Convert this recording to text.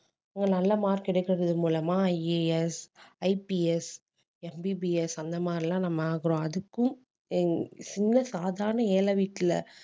அங்க நல்ல mark எடுக்கறது மூலமா IASIPSMBBS அந்த மாதிரி எல்லாம் நம்ம ஆகறோம் அதுக்கும் அஹ் சின்ன சாதாரண ஏழை வீட்டுல